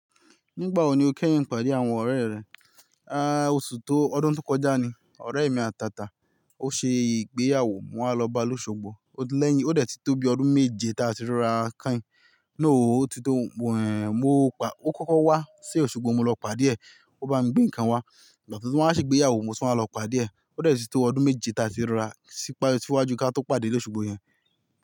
Nígbà wo ni o kẹ́yìn ìpàdé àwọn ọ̀rẹ́ rẹ? A, oṣù tó, ọdún tó kọjá ni. Ọ̀rẹ́ mi àtàtà, ó ṣe ìgbéyàwó, mo wá lọ ba ni ósugbó. O lẹ́yìn, ó dẹ̀ ti tóbi ọdún méje tí a ti ríra kán. Rara ó ti tó,, mo pa, ó kọ́kọ́ wá sí òṣùgbó mo lọ pàdé ẹ̀. Ó bá mi gbé nǹkan wá. Ìgbà tí o tun wa á ṣe ìgbéyàwó mo tun wá lọ pàdé ẹ̀. Ó dẹ̀ ti tó ọdún méje tí a ti ríra sípa, síwájú kí a tó pàdé ní òṣùgbó yẹn.